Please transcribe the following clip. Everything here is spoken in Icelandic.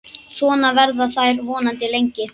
Svona verða þær vonandi lengi.